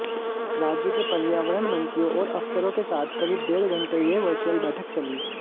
राज्यों के पर्यावरण मंत्रियों और अफसरों के साथ करीब डेढ़ घंटे यह वर्चुअल बैठक चली